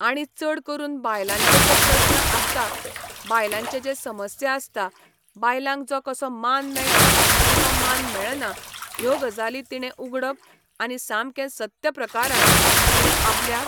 आणी चड करून बायलांचे जे प्रस्न आसता बायलांचे जे समस्या आसता बायलांक जो कसो मान मेळटा किंवा मान मेळना ह्यो गजाली तिणें उगडप आनी सामकें सत्य प्रकारान तिणें आपल्या